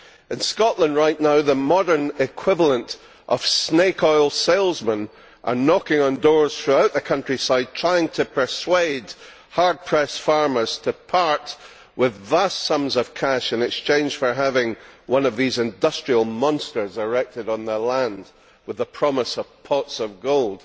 In Scotland right now the modern equivalent of snake oil salesmen are knocking on doors throughout the countryside trying to persuade hard pressed farmers to part with vast sums of cash in exchange for having one of these industrial monsters erected on their land with the promise of pots of gold.